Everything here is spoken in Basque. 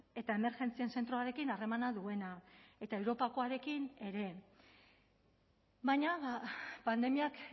eta emergentzien zentroarekin harremana duena eta europakoarekin ere baina pandemiak